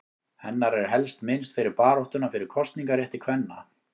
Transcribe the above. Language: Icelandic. Hennar er helst minnst fyrir baráttuna fyrir kosningarétti kvenna.